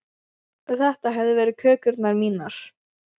Og þetta hefðu verið kökurnar mínar.